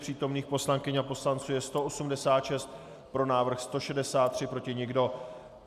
Přítomných poslankyň a poslanců je 186, pro návrh 163, proti nikdo.